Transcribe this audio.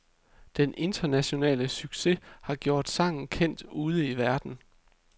Den internationale succes har gjort sangen kendt ude i verden.